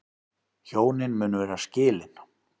Hjónin munu vera skilin